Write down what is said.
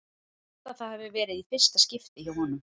Ég held að það hafi verið í fyrsta skipti hjá honum.